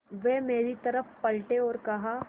वे मेरी तरफ़ पलटे और कहा